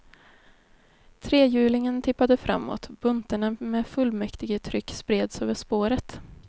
Trehjulingen tippade framåt, buntarna med fullmäktigetryck spreds över spåret.